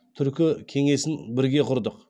түркі кеңесін бірге құрдық